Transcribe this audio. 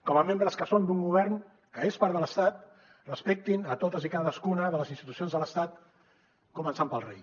com a membres que són d’un govern que és part de l’estat respectin a totes i cadascuna de les institucions de l’estat començant pel rei